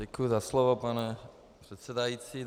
Děkuji za slovo, pane předsedající.